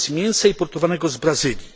wobec mięsa importowanego z Brazylii?